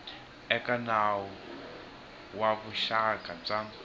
eka nawu wa vuxaka bya